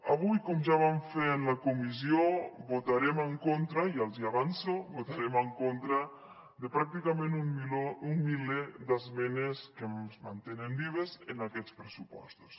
avui com ja vam fer en la comissió votarem en contra ja els hi avanço de pràcticament un miler d’esmenes que es mantenen vives en aquests pressupostos